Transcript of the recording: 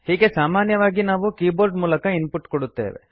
ಹೀಗೆ ಸಾಮಾನ್ಯವಾಗಿ ನಾವು ಕೀಬೋರ್ಡ್ ಮೂಲಕ ಇನ್ ಪುಟ್ ಕೊಡುತ್ತೇವೆ